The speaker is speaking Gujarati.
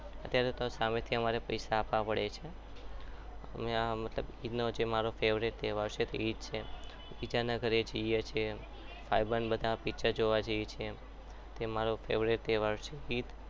અત્યારે તો મારે સામેથી પૈસા આપવા પડે છે અને આ ઈદ નો જે મારો favourite તહેવાર છે બીજાના ઘરે જઈએ છીએ ભાઈબંધ બધા picture જોવા જઈએ છીએ એ મારા favourite તહેવાર છે ઈદ